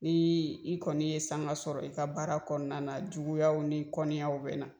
Ni i kɔni ye sanga sɔrɔ i ka baara kɔnɔna juguya ni kɔnniyaw bɛ na.